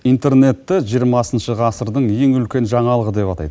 интернетті жиырмасыншы ғасырдың ең үлкен жаңалығы деп атайды